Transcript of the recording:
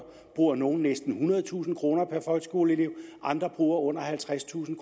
bruger nogle næsten ethundredetusind kroner per folkeskoleelev andre bruger under halvtredstusind